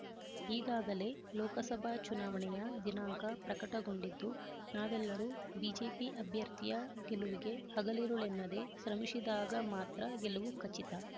ಈಗಾಗಲೇ ಲೋಕಸಭಾ ಚುನಾವಣೆಯ ದಿನಾಂಕ ಪ್ರಕಟಗೊಂಡಿದ್ದು ನಾವೆಲ್ಲರೂ ಬಿಜೆಪಿ ಅಭ್ಯರ್ಥಿಯ ಗೆಲುವಿಗೆ ಹಗಲಿರುಳೆನ್ನದೆ ಶ್ರಮಿಸಿದಾಗ ಮಾತ್ರ ಗೆಲುವು ಖಚಿತ